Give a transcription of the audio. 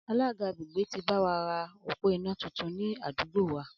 Alága àgbègbè ti báwa ra òpó iná tuntun ni àdúgbò wa